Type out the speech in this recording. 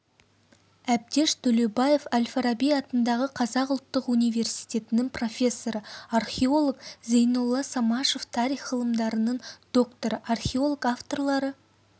әбдеш төлеубаев әл-фараби атындағы қазақ ұлттық университетінің профессоры археолог зейнолла самашев тарих ғылымдарының докторы археолог авторлары